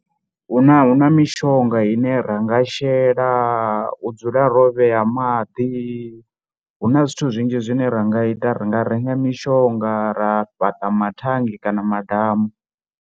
Hu na, hu na mishonga ine ra nga shela u dzula ro vhea maḓi hu na zwithu zwinzhi zwine ra nga ita, ri nga renga mishonga kana ra fhaṱa mathannge kana madamu.